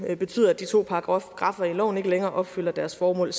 betyder at de to paragraffer i loven ikke længere opfylder deres formål